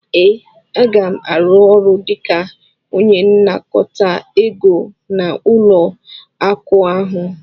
ee, Aga m arụ ọrụ dịka onye nnakọta ego n'ụlọ akụ ahụ